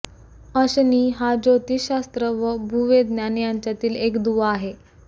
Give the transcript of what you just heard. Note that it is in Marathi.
अशनी हा ज्योतिषशास्त्र व भूविज्ञान यांच्यातील एक दुवा आहे